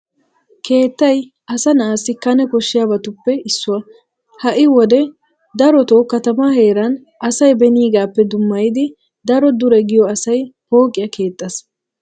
Keettay asa na'assi kane koshshiyabatuppe issuwa. Ha"i wode darotoo katamaa heeran asay beniigaappe dummayidi daro dure giyo asay pooqiya keexxees.